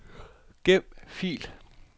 Gem fil.